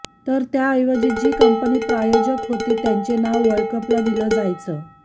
तर त्याऐवजी जी कंपनी प्रायोजक होती त्यांचे नाव वर्ल्ड कपला दिलं जायचं